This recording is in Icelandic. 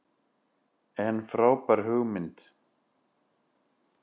En frábær hugmynd.